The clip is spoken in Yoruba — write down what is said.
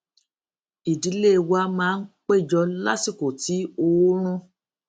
ìdílé wa máa ń péjọ lásìkò tí oòrùn